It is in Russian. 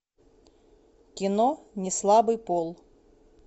кино неслабый пол